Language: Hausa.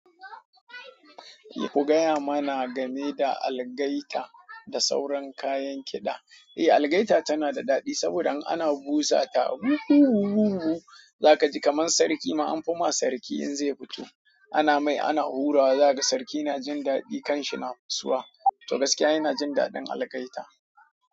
Ku gaya mana gane da algaita da sauran kayan kiɗa. Eh algaita tana da daɗi saboda in ana busa ta za ka ji kamar sarki ma an fi ma sarki in zai fito. Ana mai ana hurawa za ka ji sarki na jin daɗi kanshi na fuswa, to gaskiya ina jin daɗin algaita.